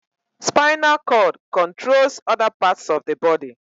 Spinal cord controls other parts of the body